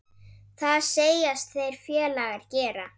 Það segjast þeir félagar gera.